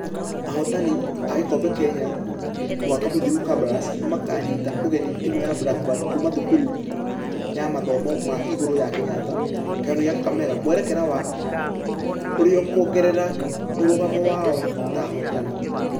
Ahotani a gĩkobe kenya mwaka mũthiru kabras nĩmakanyita ũgeni timũ ya blak bad kuuma thukuru ya mathomo ma igũrũ ya kenyatta. Kiharo-inĩ gia kakamega mwerekera wa ũrĩkuogerera mũrũgamo wao ta ahotani.